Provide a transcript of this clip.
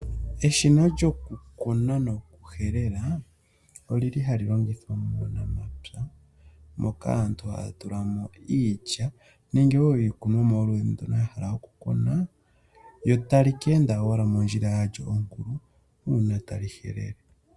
Eshina lyokukuna noku helela olili hali longithwa muunamapya moka aantu haya tulamo iilya nenge iikunomwa yoludhi ndono yahala okukuna kyontali ka enda owala mondjila yalyo onkulu uuna tali file.